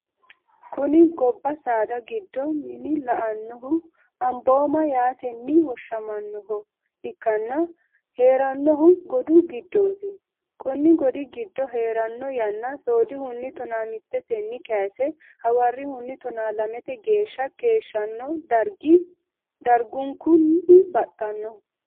Kuni goba sada gido min lelanohu amoboma yaateni woshamanoha ikana heranohuno godu gidoti Koni godi gido herano yana sodihuni tonamiteteni kayise hawarihuni tona lamete gesha keshano darigu darigunikuni batano